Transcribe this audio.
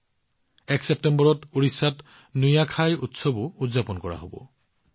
১ ছেপ্টেম্বৰত ওড়িশাত নুয়াখাই উৎসৱো পালন কৰা হব